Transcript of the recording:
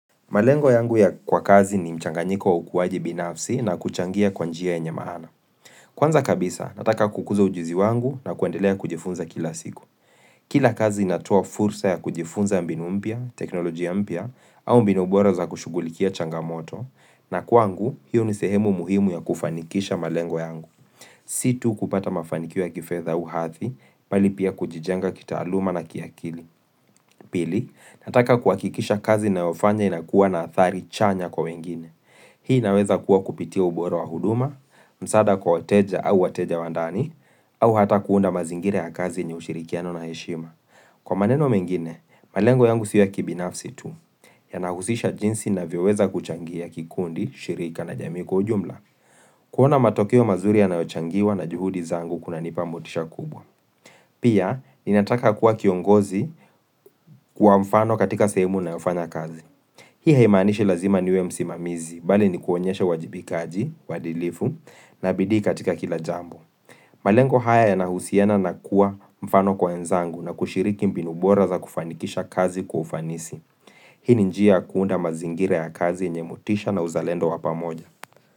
Malengo yangu ya kazi ni mchanganyiko wa ukuwaji binafsi na kuchangia kwabnjia yaenye maana. Kwanza kabisa, nataka kukuza ujuzi wangu na kuendelea kujifunza kila siku. Kila kazi inatuoa fursa ya kujifunza mbinu mpya, teknolojia mpya, au mbinu bora za kushughulikia changamoto, na kwangu, hiyo ni sehemu muhimu ya kufanikisha malengo yangu. Si tu kupata mafanikio ya kifedha au hadhi, bali pia kujijenga kitaaluma na kiakili. Pili, nataka kuhakikisha kazi ninayofanya inakuwa na athari chanya kwa wengine. Hii inaweza kuwa kupitia ubora wa huduma, msaada kwa wateja au wateja wa ndani, au hata kuunda mazingira ya kazi yenye ushirikiano na heshima. Kwa maneno mengine, malengo yangu si ya kibinafsi tu, yanahusisha jinsi ninavyoweza kuchangia kikundi, shirika na jamai kwa ujumla. Kuona matokeo mazuri yanayochangiwa na juhudi zangu kunanipa motisha kubwa. Pia, ninataka kuwa kiongozi kwa mfano katika sehemu ninayofanya kazi. Hii haimaanishi lazima niwe msimamizi, bali ni kuonyesha uwajibikaji, uadilifu, na bidii katika kila jambo. Malengo haya yanahusiana na kuwa mfano kwa wenzangu na kushiriki mbinu bora za kufanikisha kazi kwa ufanisi. Hii njia kuunda mazingira ya kazi yenye motisha na uzalendo wa pamoja.